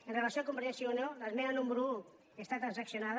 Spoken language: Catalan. amb relació a convergència i unió l’esmena número un està transaccionada